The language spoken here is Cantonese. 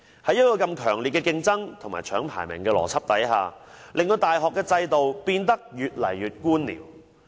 在如此強烈競爭和搶排名的邏輯下，大學制度變得越來越官僚。